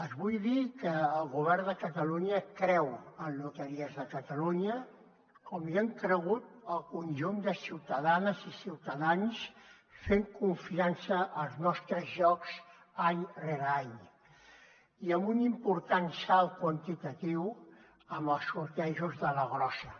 els vull dir que el govern de catalunya creu en loteries de catalunya com hi han cregut el conjunt de ciutadanes i ciutadans fent confiança als nostres jocs any rere any i amb un important salt quantitatiu en els sortejos de la grossa